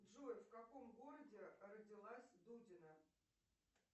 джой в каком городе родилась дудина